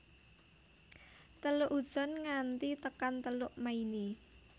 Teluk Hudson nganti tekan Teluk Maine